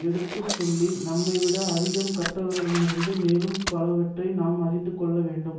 எடுத்து சொல்லி நம்மைவிட அதிகம் கற்றவரிடமிருந்து மேலும் பலவற்றை நாம் அறிந்து கொள்ள வேண்டும்